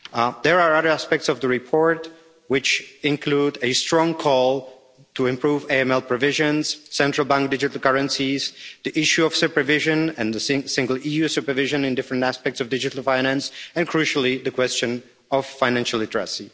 There are other aspects of the report, which include a strong call to improve AML provisions, central bank digital currencies, the issue of supervision and the single EU supervision in different aspects of digital finance and, crucially, the question of financial redress.